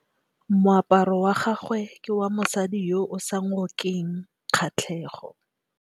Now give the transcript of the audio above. Moaparô wa gagwe ke wa mosadi yo o sa ngôkeng kgatlhegô.